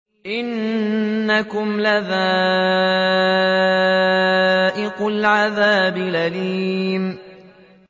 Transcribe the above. إِنَّكُمْ لَذَائِقُو الْعَذَابِ الْأَلِيمِ